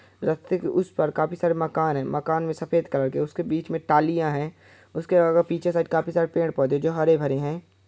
रस्ते के उस पार काफी सारे मकान है मकान मे सफेद कलर के उसके बीच में टालियां है उसके पीछे साइड काफी सारे पेड़ पौधे है जो हरे - भरे हैं।